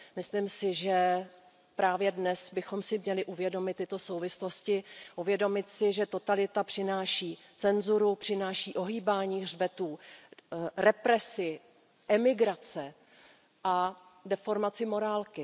Myslím si, že právě dnes bychom si měli uvědomit tyto souvislosti, uvědomit si, že totalita přináší cenzuru, přináší ohýbání hřbetů, represi, emigrace a deformaci morálky.